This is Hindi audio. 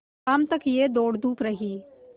शाम तक यह दौड़धूप रही